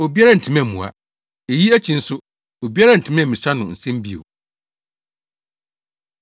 Obiara antumi ammua. Eyi akyi nso, obiara antumi ammisa no nsɛm bio.